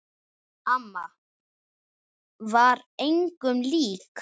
Amma var engum lík.